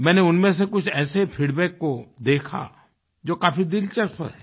मैंने उनमें से कुछ ऐसे फीडबैक को देखा जो काफी दिलचस्प हैं